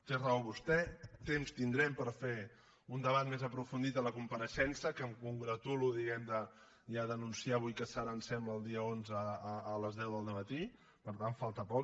té raó vostè temps tindrem per fer un debat més aprofundit a la compareixença que em congratulo diguem ne ja d’anunciar avui que serà em sembla el dia onze a les deu del dematí per tant falta poc